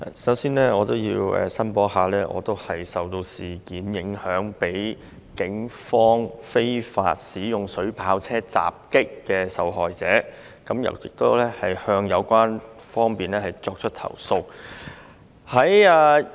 首先我要申報，我是被警方非法使用水炮車襲擊的受害者，亦已向有關方面作出投訴。